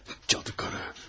Cadı qarı.